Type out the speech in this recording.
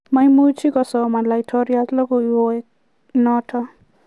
maimuch kosoman laitoriat logowek notok